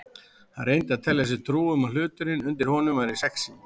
Hann reyndi að telja sér trú um að hluturinn undir honum væri sexí.